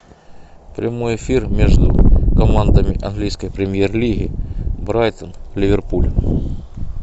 прямой эфир между командами английской премьер лиги брайтон ливерпуль